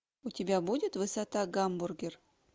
у тебя будет высота гамбургер